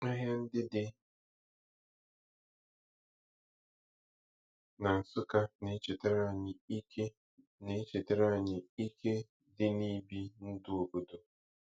Ahịa ndị dị na Nsukka na-echetara anyị ike na-echetara anyị ike dị na ibi ndụ obodo.